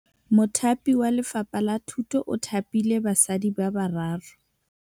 Mothapi wa Lefapha la Thutô o thapile basadi ba ba raro.